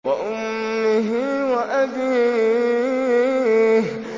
وَأُمِّهِ وَأَبِيهِ